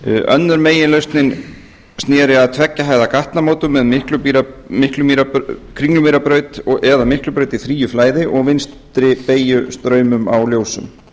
önnur meginlausnin sneri að tveggja hæða gatnamótum með kringlumýrarbraut eða miklubraut í fríu flæði og vinstri beygju straumum á ljósum